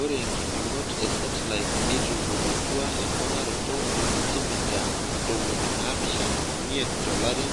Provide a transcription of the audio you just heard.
Ore nkipimot e setilait neitodolutua emponaroto e sentimita ntomoni naapishana omiet tolari